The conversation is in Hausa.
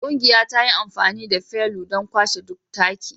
Ƙungiyara ta yi amfani da felu don kwashe duk taki